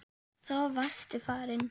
Svo varstu farinn.